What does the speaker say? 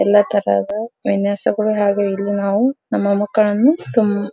ಎಲ್ಲ ತರದ ವಿನ್ಯಾಸಗಳು ಹಾಗೆ ಇಲ್ಲಿ ನಾವು ನಮ್ಮ ಮಕ್ಕಳನ್ನು ತುಂಬಾ --